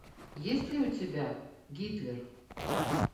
есть ли у тебя гитлер